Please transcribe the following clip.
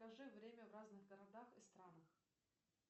скажи время в разных городах и странах